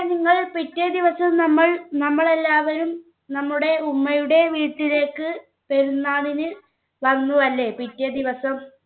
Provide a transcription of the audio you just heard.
നിങ്ങൾ പിറ്റേദിവസം നമ്മൾ നമ്മളെല്ലാവരും നമ്മുടെ ഉമ്മയുടെ വീട്ടിലേക്ക് പെരുന്നാളിന് വന്നു അല്ലേ പിറ്റേ ദിവസം